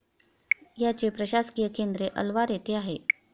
याचे प्रशासकीय केंद्रे अलवार येथे आहे.